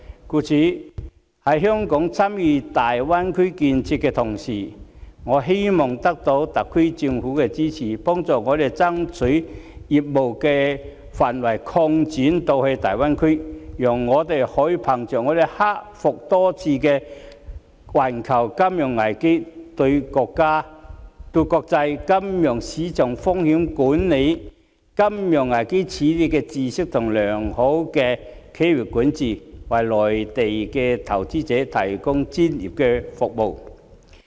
故此，在香港參與大灣區建設的同時，我們希望得到特區政府的支持，幫助我們爭取將業務範圍擴展至大灣區，讓我們可以憑藉克服多次的環球金融危機的經驗、對國際金融市場風險管理和金融危機的認知，以及良好的企業管治，為內地投資者提供專業服務。